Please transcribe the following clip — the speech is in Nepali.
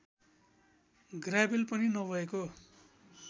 ग्रावेल पनि नभएको